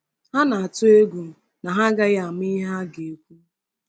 Ha na-atụ egwu na ha agaghị ama ihe ha ga-ekwu.